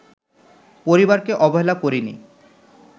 পরিবারকে অবহেলা করিনি